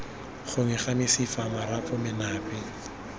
gongwe ga mesifa marapo menape